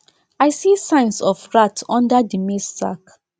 i see signs of rats under the maize sack